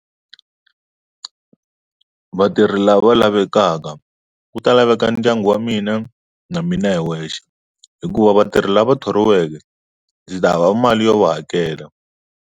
Vatirhi lava lavekaka ku ta laveka ndyangu wa mina na mina hi wexe hikuva vatirhi lava thoriweke ndzi ta hava mali yo va hakela.